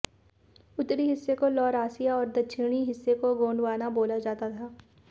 उत्तरी हिस्से को लौरासिया और दक्षिणी हिस्से को गोंडवाना बोला जाता था